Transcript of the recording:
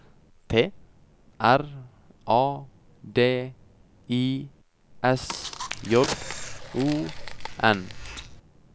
T R A D I S J O N